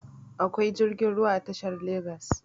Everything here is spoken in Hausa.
akwai jirgin ruwa a tashar a legas